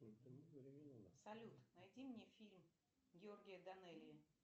салют найди мне фильм георгия данелия